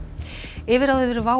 yfirráð yfir WOW